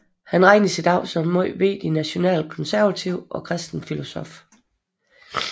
Han regnes idag som en meget vigtig nationalkonservativ og kristen filosof